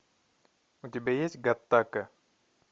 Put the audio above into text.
у тебя есть гаттака